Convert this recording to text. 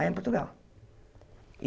Lá em Portugal.